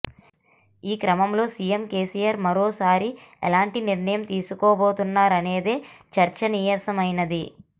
ఈ క్రమంలో సీఎం కేసీఆర్ మరోసారి ఎలాంటి నిర్ణయం తీసుకోబోతున్నారనేది చర్చానీయాంశమైంది